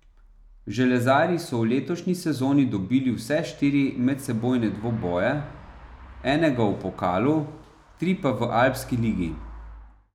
Železarji so v letošnji sezoni dobili vse štiri medsebojne dvoboje, enega v pokalu, tri pa v Alpski ligi.